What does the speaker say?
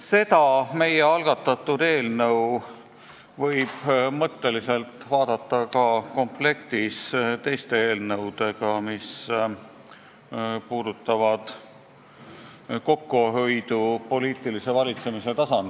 Seda meie algatatud eelnõu võib põhimõtteliselt vaadata ka komplektis teiste eelnõudega, mis puudutavad kokkuhoidu poliitilise valitsemise tasandil.